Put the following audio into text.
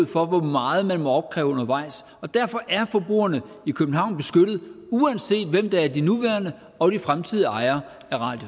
for hvor meget man må opkræve undervejs og derfor er forbrugerne i københavn beskyttet uanset hvem der er de nuværende og de fremtidige ejere